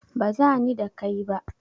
Baza ni da kai ba.